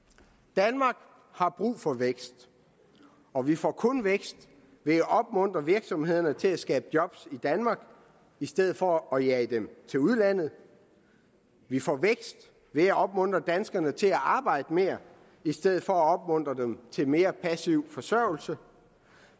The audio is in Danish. danmark har brug for vækst og vi får kun vækst ved at opmuntre virksomhederne til at skabe job i danmark i stedet for at jage dem til udlandet vi får vækst ved at opmuntre danskerne til at arbejde mere i stedet for at opmuntre dem til mere passiv forsørgelse